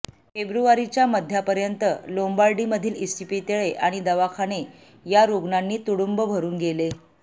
फेब्रुवारीच्या मध्यापर्यंत लोम्बार्डीमधील इस्पितळे आणि दवाखाने या रुग्णांनी तुडुंब भरून गेले